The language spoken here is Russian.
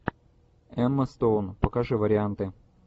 эма стоун покажи варианты